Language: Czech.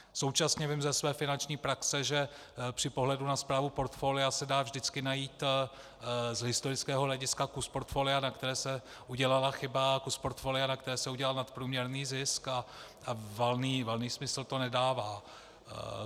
Současně vím ze své finanční praxe, že při pohledu na správu portfolia se dá vždycky najít z historického hlediska kus portfolia, na kterém se udělala chyba, a kus portfolia, na kterém se udělal nadprůměrný zisk, a valný smysl to nedává.